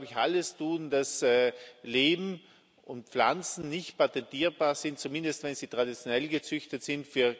Wir sollten, glaube ich, alles tun, damit Leben und Pflanzen nicht patentierbar sind, zumindest wenn sie traditionell gezüchtet sind.